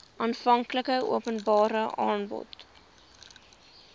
aanvanklike openbare aanbod